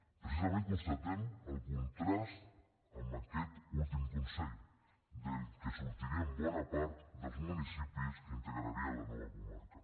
precisament constatem el contrast amb aquest últim consell del qual sortirien bona part dels municipis que integrarien la nova comarca